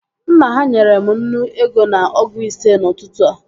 Nna ha nyere m nnu ego na ọgụ ise n'ụtụtụ a